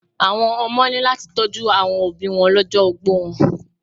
Àwọn ọmọ ní láti tọ́jú àwọn òbíi wọn lọ́jọ́ ogbó wọn.